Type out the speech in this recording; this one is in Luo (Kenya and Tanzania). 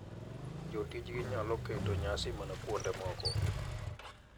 Jotijgi nyalo keto nyasi mana kuonde moko